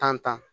Tan tan